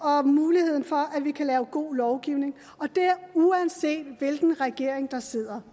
og muligheden for at vi kan lave god lovgivning og det er uanset hvilken regering der sidder